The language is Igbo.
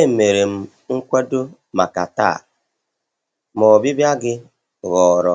Emere m nkwado maka taa, ma ọbịbịa gị ghọrọ